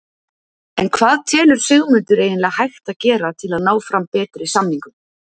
En hvað telur Sigmundur eiginlega hægt að gera til að ná fram betri samningum?